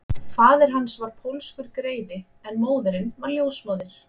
Faðir hans var pólskur greifi en móðirin var ljósmóðir